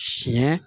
Siɲɛ